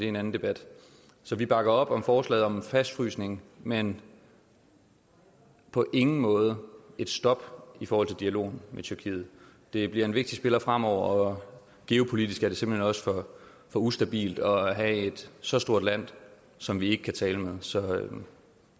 en anden debat så vi bakker op om forslaget om en fastfrysning men på ingen måde et stop for dialogen med tyrkiet det bliver en vigtig spiller fremover og geopolitisk er det simpelt hen også for ustabilt at have et så stort land som vi ikke kan tale med så